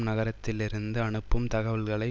நகரத்திலிருந்து அனுப்பும் தகவல்களை